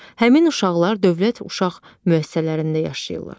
Həmin uşaqlar dövlət uşaq müəssisələrində yaşayırlar.